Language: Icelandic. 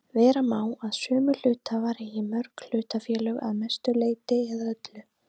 Vera má að sömu hluthafar eigi mörg hlutafélög að mestu leyti eða öllu.